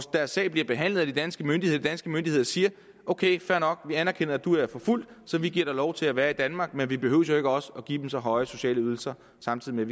deres sag bliver behandlet af de danske myndigheder danske myndigheder siger ok fair nok vi anerkender at du er forfulgt så vi giver dig lov til at være i danmark men vi behøver jo ikke også give så høje sociale ydelser samtidig med